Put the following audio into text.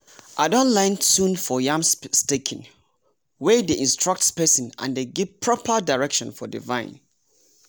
i don learn tune for yam staking wey dey instructs spacing and dey give proper direction for the vine.